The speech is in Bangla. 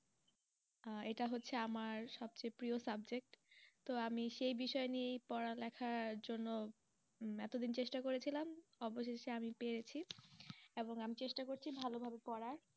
আহ এটা হচ্ছে আমার সবচেয়ে প্রিয় subject তো আমি সেই বিষয় নিয়েই পড়ালেখার জন্য এত দিন চেষ্টা করেছিলাম, অবশেষে আমি পেয়েছি এবং আমি চেষ্টা করছি ভালোভাবে পড়ার